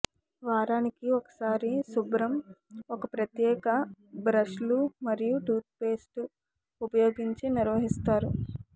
వారానికి ఒకసారి శుభ్రం ఒక ప్రత్యేక బ్రష్లు మరియు టూత్ పేస్టు ఉపయోగించి నిర్వహిస్తారు